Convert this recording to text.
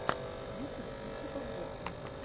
ютюб включи подборки